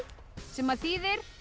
sem þýðir